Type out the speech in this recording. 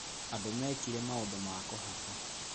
Andũ mekĩre maũndũ ma kũhaka